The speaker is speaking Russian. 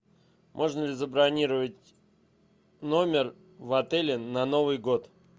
можно ли забронировать номер в отеле на новый год